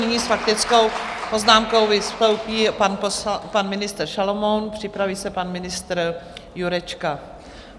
Nyní s faktickou poznámkou vystoupí pan ministr Šalomoun, připraví se pan ministr Jurečka.